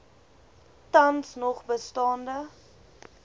tans nog bestaande